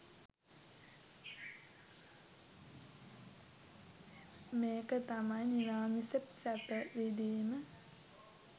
මේක තමයි නිරාමිස සැප විඳීම